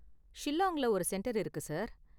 ஷில்லாங்ல ஒரு சென்டர் இருக்கு, சார்.